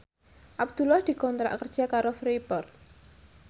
Abdullah dikontrak kerja karo Freeport